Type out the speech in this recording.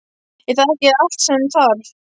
Er það ekki allt sem þarf?